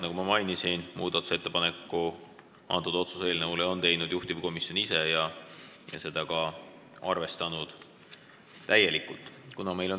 Nagu ma mainisin, muudatusettepaneku otsuse eelnõu kohta on teinud juhtivkomisjon ise ja on ise seda ka täielikult arvestanud.